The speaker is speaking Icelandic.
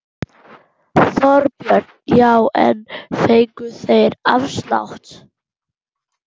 Þorbjörn: Já en fengu þeir afslátt?